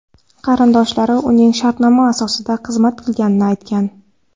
Qarindoshlari uning shartnoma asosida xizmat qilganini aytgan.